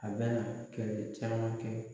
A bɛna kɛlɛ caman kɛ.